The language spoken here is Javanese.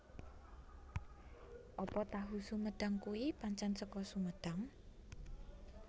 Apa tahu sumedang kui pancen seko Sumedang?